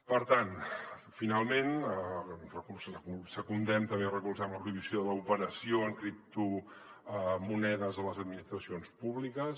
per tant finalment secundem també recolzem la prohibició de l’operació en criptomonedes a les administracions públiques